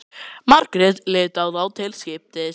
Margrét leit á þá til skiptis.